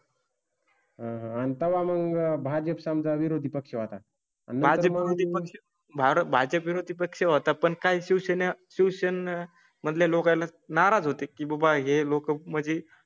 हां, आता मग भाजप समजा विरोधी पक्ष आता. माझं ही भाजप विरोधी पक्ष होता. पण काही शिवसेने ट्यूशन मध्ये लोकायला नाराज होते की बाळ हे लोक म्हणजे हाइ